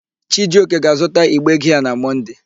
Chijioke ga-azụta igbe giaa na Mọnde.